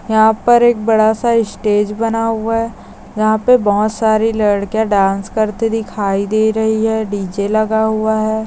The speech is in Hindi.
यहा पर एक बड़ासा इस्टेज बना हुआ है यहा पे बहुत सारी लडकीया डांन्स करती दिखाई दे रही है डीजे लगा हुआ है।